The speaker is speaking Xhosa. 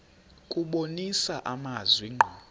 kubonisa amazwi ngqo